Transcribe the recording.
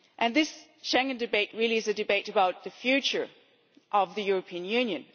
This Schengen debate really is a debate about the future of the European Union